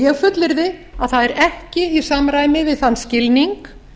ég fullyrði að það er ekki í samræmi við þann skilning